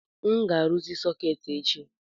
M ga-arụzi sọketi a echi